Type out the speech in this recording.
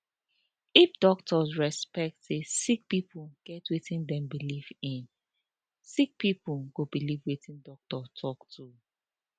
if doctor respect say sick pipo get wetin dem believe in sick pipo go believe wetin doctor talk too